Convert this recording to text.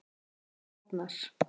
Arnar